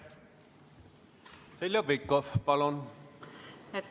Heljo Pikhof, palun!